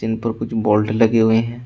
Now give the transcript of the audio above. ब बोल्ट लगे हुए है।